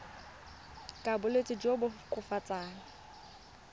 ka bolwetsi jo bo koafatsang